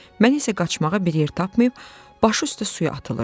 Mən isə qaçmağa bir yer tapmayıb, başı üstə suya atılıram.